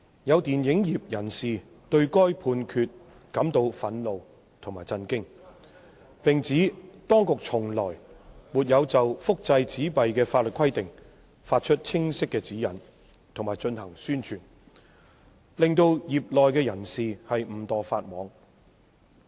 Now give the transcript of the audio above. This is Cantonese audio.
有電影業人士對該判決感到憤怒及震驚，並指當局從來沒有就複製紙幣的法律規定發出清晰指引及進行宣傳，令業內人士誤墮法網。